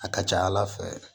A ka ca ala fɛ